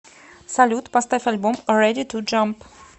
салют поставь альбом рэди ту джамп